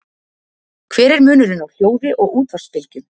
Hver er munurinn á hljóði og útvarpsbylgjum?